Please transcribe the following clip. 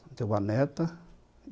Tenho uma neta